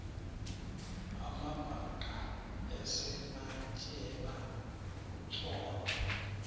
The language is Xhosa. amabhaca esematyeba kutsolo